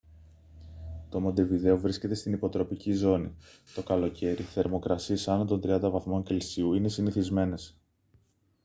το μοντεβιδέο βρίσκεται στην υποτροπική ζώνη. το καλοκαίρι θερμοκρασίες άνω των 30 °c είναι συνηθισμένες